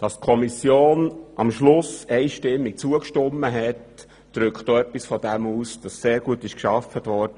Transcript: Dass die Kommission am Schluss einstimmig zugestimmt hat, drückt auch etwas davon aus, dass sehr gut gearbeitet wurde.